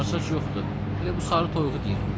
Sarısaç yoxdur, elə bu sarı toyuğu deyirəm.